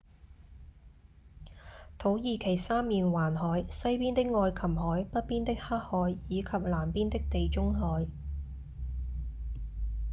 土耳其三面環海：西邊的愛琴海﹑北邊的黑海以及南邊的地中海